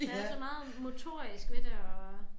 Der er så meget motorisk ved det og